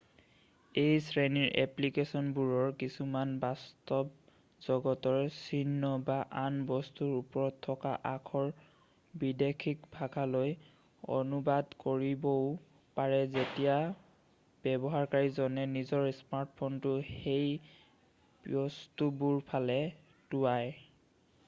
এই শ্ৰেণীৰ এপ্লিকেছনবোৰৰ কিছুমানে বাস্তৱ জগতৰ চিহ্ন বা আন বস্তুৰ ওপৰত থকা আখৰ বৈদেশিক ভাষালৈ অনুবাদ কৰিবও পাৰে যেতিয়া ব্যৱহাৰকাৰীজনে নিজৰ স্মাৰ্টফোনটো সেই বস্তুবোৰৰফালে টোঁৱায়